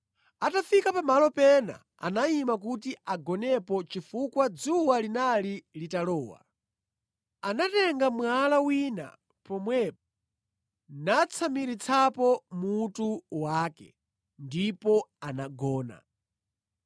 Atafika pa malo pena, anayima kuti agonepo chifukwa dzuwa linali litalowa. Anatenga mwala wina pomwepo natsamiritsapo mutu wake, ndipo anagona.